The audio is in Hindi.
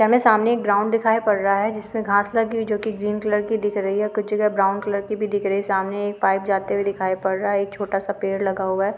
हमे सामने एक ग्राउंड दिखाय पड़ रहा है जिस में घास लगी हुई जो की ग्रीन कलर की दिख रही है कुछ जगह ब्राउन कलर की भी दिख रही है सामने एक पाइप जाते हुए दिखाई पड़ रहा है एक छोटा सा पेड़ लगा हुआ है।